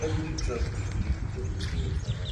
when pipo travel e dey give dem experience for life